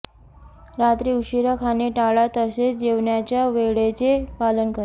रात्री उशिरा खाणे टाळा तसेच जेवणाच्या वेळेचे पालन करा